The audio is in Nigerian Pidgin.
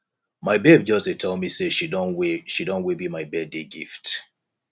my babe just dey tell me say she don way she don way bill my birthday gift